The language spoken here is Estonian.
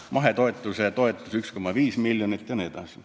... mahetootmise toetus on 1,5 miljonit jne.